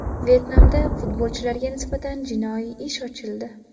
Vyetnamda futbolchilarga nisbatan jinoiy ish ochildi.